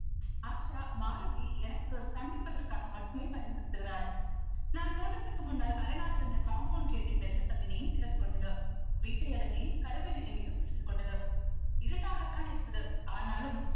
ஆஷா மாருதி எனக்கு சந்திப்பதற்காக மட்டுமே பயன்படுத்துகிறாள் நான் தோட்டத்திற்கு முன்னால் அரணாக இருந்த compound கேட்டை மெல்ல தள்ளினேன் திறந்து கொண்டது வீட்டை அடைந்தேன் கதவை நெருங்கியதும் திறந்து கொண்டது இருட்டாகத்தான் இருந்தது ஆனாலும்